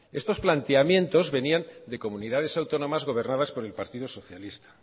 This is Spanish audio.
estos planteamientos venían de comunidades autónomas gobernadas por el partido socialista